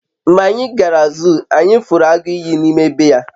mgbe anyi gara zuu, anyi furu agu iyi n'ime be ya